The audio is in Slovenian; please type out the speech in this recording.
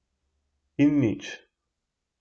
In nič.